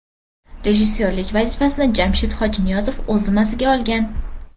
Rejissyorlik vazifasini Jamshid Hojiniyozov o‘z zimmasiga olgan.